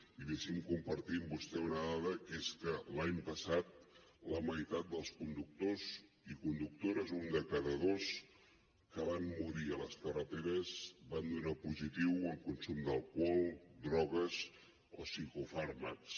i deixi’m compartir amb vostè una dada que és que l’any passat la meitat dels conductors i conductores un de cada dos que van morir a les carreteres van donar positiu en consum d’alcohol drogues o psicofàrmacs